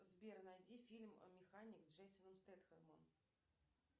сбер найди фильм механик с джейсоном стетхемом